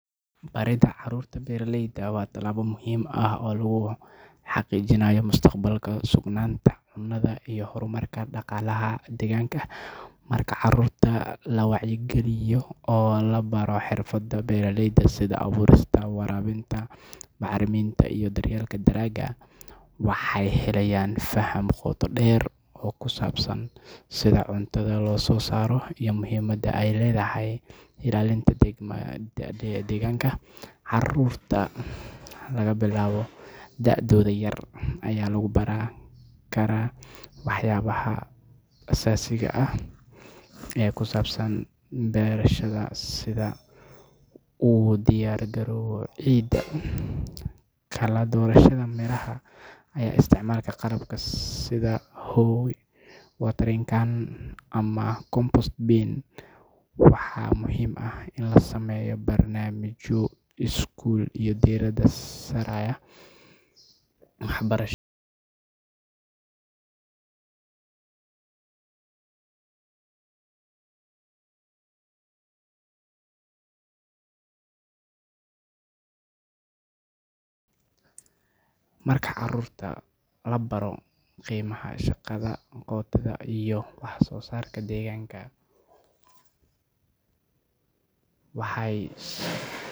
Baridda carruurta beeralayda waa tallaabo muhiim ah oo lagu xaqiijinayo mustaqbalka sugnaanta cunnada iyo horumarka dhaqaalaha deegaanka. Marka carruurta laga wacyigeliyo oo la baro xirfadaha beeraleyda sida abuurista, waraabinta, bacriminta iyo daryeelka dalagga, waxay helayaan faham qoto dheer oo ku saabsan sida cuntada loo soo saaro iyo muhiimadda ay leedahay ilaalinta deegaanka. Carruurta laga bilaabo da’dooda yar ayaa lagu baran karaa waxyaabaha asaasiga ah ee ku saabsan beerashada sida u diyaargarowga ciidda, kala-doorashada miraha, iyo isticmaalka qalabka sida hoe, watering can, ama compost bin. Waxaa muhiim ah in la sameeyo barnaamijyo iskuul oo diiradda saaraya waxbarashada beeralayda, lana abaabulo booqashooyin dhanka beeraha ah si carruurtu ugu arkaan si toos ah habka wax loo beero. Marka carruurta la baro qiimaha shaqada gacanta iyo wax-soo-saarka deegaanka, waxay.